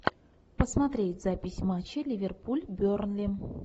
посмотреть запись матча ливерпуль бернли